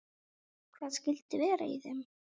Hvað skyldi vera í þeim?